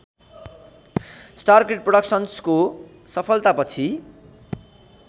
star kid प्रोडक्सन्स्को सफलतापछि